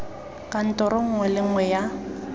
kantoro nngwe le nngwe ya